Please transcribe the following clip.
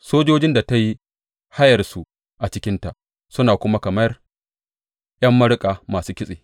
Sojojin da ta yi hayarsu a cikinta suna kamar ’yan maruƙa masu kitse.